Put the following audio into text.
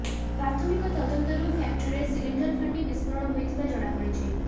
ପ୍ରାଥମିକ ତଦନ୍ତରୁ ଫ୍ୟାକ୍ଟ୍ରିରେ ସିଲିଣ୍ଡର ଫାଟି ବିସ୍ଫୋରଣ ହୋଇଥିବା ଜଣାପଡିଛି